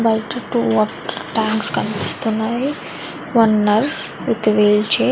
బయట two water tanks కనిపిస్తున్నాయి. One nurse with wheelchair --